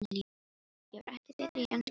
Ég var ekki betri í enskunni en svo.